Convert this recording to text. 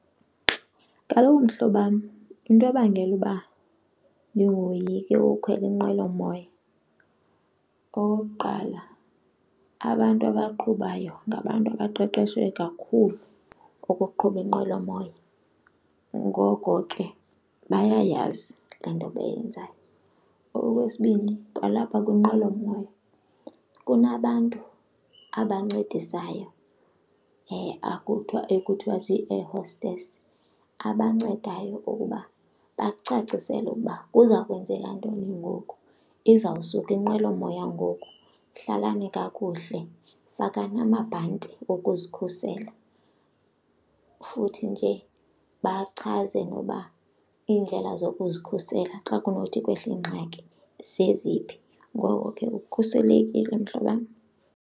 Kaloku mhlobam, into ebangela uba ndingoyiki ukukhwela inqwelomoya okokuqala abantu abaqhubayo ngabantu abaqeqeshwe kakhulu ukuqhuba inqwelomoya, ngoko ke bayayazi laa nto bayenzayo. Okwesibini kwalapha kwinqwelomoya kunabantu abancedisayo ekuthiwa zii-air hostess abancedayo ukuba bakucacisele ukuba kuza kwenzeka ntoni ngoku, izawusuka inqwelomoya ngoku hlalani kakuhle, fakani amabhanti okuzikhusela. Futhi nje bachaze noba iindlela zokuzikhusela xa kunothi kwehle ingxaki zeziphi, ngoko ke ukhuselekile mhlobam.